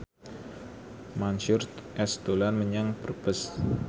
Mansyur S dolan menyang Brebes